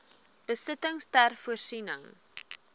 besittings ter voorsiening